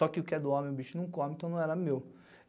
Só que o que é do homem, o bicho não come, então não era meu.